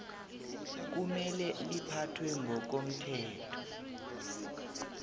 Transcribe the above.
kumele liphathwe ngokomthetho